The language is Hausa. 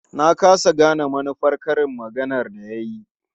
Na ƙasa gane manufar karin maganar da ya yi.